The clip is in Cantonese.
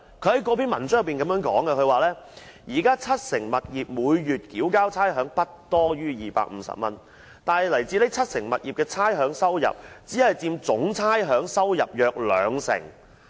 他在該篇文章中表示，當時七成物業每月繳交差餉不多於250元，但來自該七成物業的差餉收入，只佔總差餉收入約兩成。